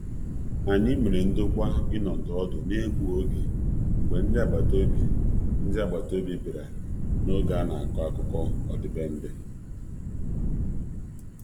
Anyị mere ndokwa ịnọdi ọdụ n'egbughị oge mgbe ndị agbata obi bịara n'oge a na-akọ akụkọ ọdịbendị.